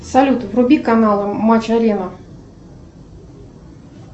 салют вруби канал матч арена